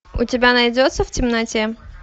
у тебя найдется в темноте